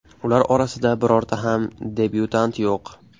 Ular orasida birorta ham debyutant yo‘q.